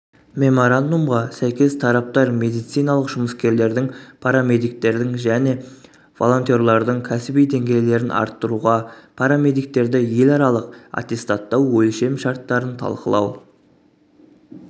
меморандумға сәйкес тараптар медициналық жұмыскерлердің парамедиктердің және волонтерлардың кәсіби деңгейлерін арттыруға парамедиктерді еларалық аттестаттау өлшем шарттарын талқылау